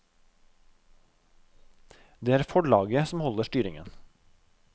Det er forlaget som holder styringen.